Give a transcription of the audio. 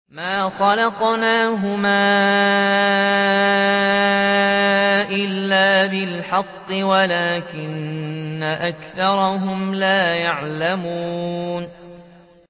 مَا خَلَقْنَاهُمَا إِلَّا بِالْحَقِّ وَلَٰكِنَّ أَكْثَرَهُمْ لَا يَعْلَمُونَ